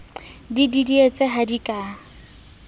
di didietse ha di ka